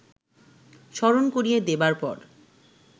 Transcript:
স্মরণ করিয়ে দেবার পর